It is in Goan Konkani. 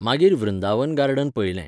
मागीर वृंदावन गार्डन पयलें.